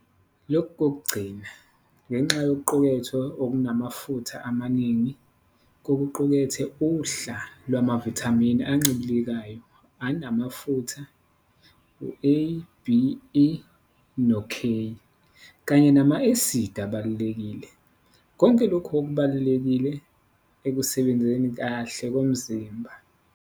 Lokhu kokugcina, ngenxa yokuqukethwe okunamafutha amaningi, kuqukethe uhla lwamavithamini ancibilikayo anamafutha, A, D, E noK, kanye nama-acid abalulekile, konke lokhu okubalulekile ekusebenzeni kahle komzimba.